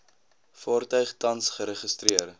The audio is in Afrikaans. vaartuig tans geregistreer